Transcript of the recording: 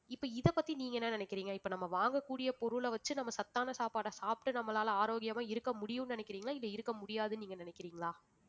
இப்ப இதைப்பத்தி நீங்க என்ன நினைக்கிறீங்க இப்ப நம்ம வாங்கக்கூடிய பொருளை வச்சு நம்ம சத்தான சாப்பாடை சாப்பிட்டு நம்மளால ஆரோக்கியமா இருக்க முடியும்னு நினைக்கிறீங்களா இது இருக்க முடியாதுன்னு நீங்க நினைக்கிறீங்களா